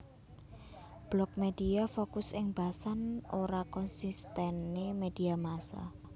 Blog Media fokus ing basan ora konsistene media massa